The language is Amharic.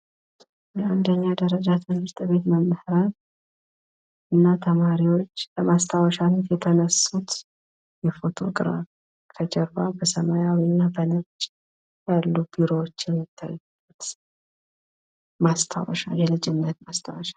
የአንደኛ ደረጃ ትምህርት ቤት መምህራን እና ተማሪዎች ለማስታወሻነት የተነሱት ፎቶ ግራፍ ከጀርባቸው በነጭና ሰማያዊ ያሉ ቢሮዎች አሉ። የልጅነት ማስታወሻ።